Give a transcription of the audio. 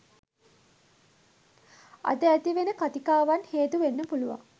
අද ඇති වෙන කතිකාවන් හේතු වෙන්න පුලුවන්.